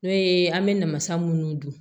N'o ye an bɛ namasa minnu dun